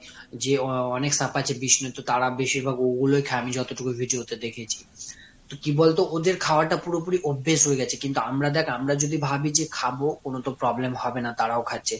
যে আহ অনেক সাপ আছে বিষ্ণু তো তারা বেশির ভাগ ওগুলোই খায় আমি যতটুকু video তে দেখেছি। তো কি বলতো ওদের খাওয়া টা পুরোপুরি অভ্যেস হয়ে গেছে কিন্তু আমরা দেখ আমরা যদি ভাবি যে খাবো, কোনো তো problem হবে না, তারাও খাচ্ছে।